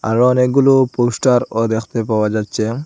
আরো অনেকগুলো পোস্টারও দেখতে পাওয়া যাচ্ছে।